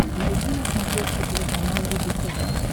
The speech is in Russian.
найти на смотрешке телеканал рубль тв